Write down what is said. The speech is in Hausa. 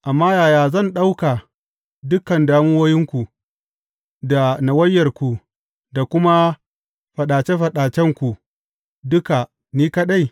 Amma yaya zan ɗauka dukan damuwoyinku da nawayarku da kuma faɗace faɗacenku duka ni kaɗai?